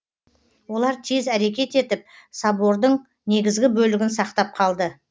олар тез әрекет етіп собордың негізгі бөлігін сақтап қалды